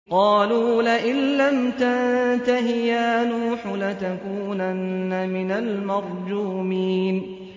قَالُوا لَئِن لَّمْ تَنتَهِ يَا نُوحُ لَتَكُونَنَّ مِنَ الْمَرْجُومِينَ